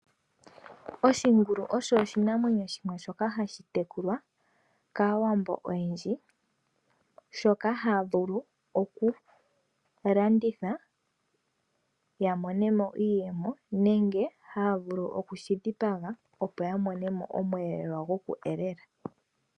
Oshingulu osho oshinamwenyo shimwe shoka hashi tekulwa kaawambo oyendji, shoka haya vulu oku landitha ya mone mo iiyemo nenge haya vulu oku shi dhipaga, opo ya mone mo osheelelwa shoku elela.